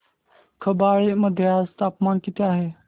खंबाळे मध्ये आज तापमान किती आहे